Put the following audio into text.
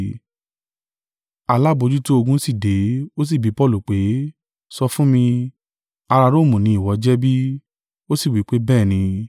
Alábojútó-ogun sì dé, ó sì bí Paulu pé, “Sọ fún mi, ará Romu ni ìwọ jẹ́ bí?” Ó sì wí pé, “Bẹ́ẹ̀ ni.”